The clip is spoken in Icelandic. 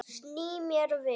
Sný mér við.